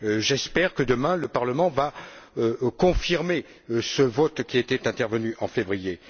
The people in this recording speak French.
J'espère que, demain, le Parlement va confirmer ce vote, qui était intervenu en février.